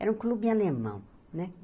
Era um clube alemão, né?